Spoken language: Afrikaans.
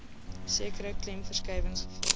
sekere klemverskuiwings gevra